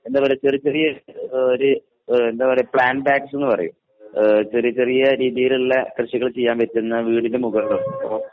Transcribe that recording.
എന്താ പറയുക ചെറിയചെറിയ ആഹ് ഒരു ആഹ് എന്താ പറയുക പ്ലാൻ ബാഗ്‌സെന്ന് പറയും. ആഹ് ചെറിയ ചെറിയ രീതിയിലുള്ള കൃഷികൾ ചെയ്യാൻ പറ്റുന്ന വീടിനുമുകളിലും അപ്പൊ